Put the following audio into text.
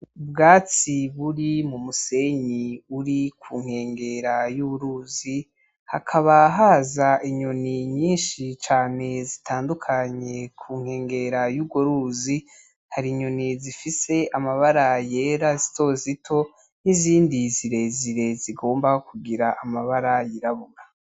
Ubwatsi buri mu musenyi uri ku nkengera y'uruzi, hakaba haza inyoni nyinshi cane zitandukanye ku nkengera y'urwo ruzi, hari inyoni zifise amabara yera zito zito, n'izindi zirezire zigomba kugira amabara yirabura.